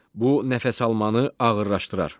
Bu nəfəs almanı ağırlaşdırar.